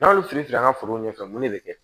N'a y'olu fili fili an ka forow ɲɛfɛ mun de bi kɛ